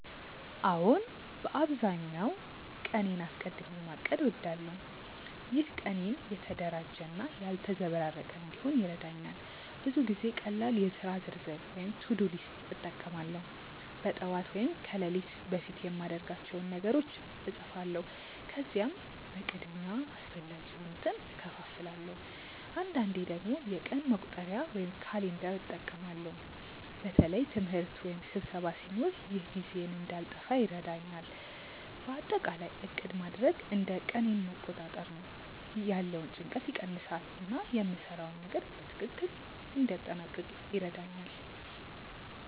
አዎን፣ በአብዛኛው ቀኔን አስቀድሚ ማቀድ እወዳለሁ። ይህ ቀኔን የተደራጀ እና ያልተዘበራረቀ እንዲሆን ይረዳኛል። ብዙ ጊዜ ቀላል የሥራ ዝርዝር (to-do list) እጠቀማለሁ። በጠዋት ወይም ከሌሊት በፊት የማድርጋቸውን ነገሮች እጻፋለሁ፣ ከዚያም በቅድሚያ አስፈላጊ የሆኑትን እከፋፍላለሁ። አንዳንዴ ደግሞ የቀን መቁጠሪያ (calendar) እጠቀማለሁ በተለይ ትምህርት ወይም ስብሰባ ሲኖር። ይህ ጊዜዬን እንዳልጠፋ ይረዳኛል። በአጠቃላይ ዕቅድ ማድረግ እንደ ቀኔን መቆጣጠር ነው፤ ያለውን ጭንቀት ይቀንሳል እና የምሰራውን ነገር በትክክል እንዲያጠናቅቅ ይረዳኛል።